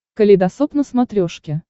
калейдосоп на смотрешке